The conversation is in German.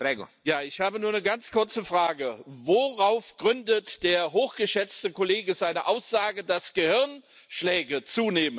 Ich habe nur eine ganz kurze Frage Worauf gründet der hochgeschätzte Kollege seine Aussage, dass Gehirnschläge zunehmen?